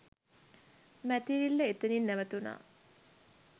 මැතිරිල්ල එතනින් නැවතුනා